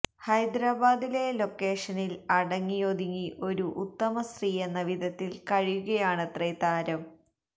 ഹൈദരാബാദിലെ ലൊക്കേഷനില് അടങ്ങിയൊതുങ്ങി ഒരു ഉത്തമ സ്ത്രീയെന്ന വിധത്തില് കഴിയുകയാണത്രേ താരം